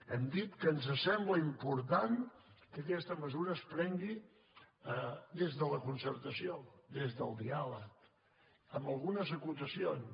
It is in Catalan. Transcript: hem dit que ens sembla important que aquesta mesura es prengui des de la concertació des del diàleg amb algunes acotacions